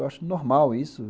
Eu acho normal isso.